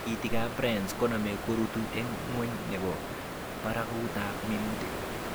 Tikiikikab brace koname korutu en ngweny nebo barakutab minuutik